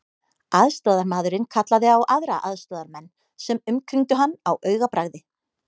Aðstoðarmaðurinn kallaði á aðra aðstoðarmenn sem umkringdu hann á augabragði.